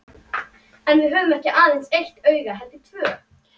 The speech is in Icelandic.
En við höfum ekki aðeins eitt auga heldur tvö.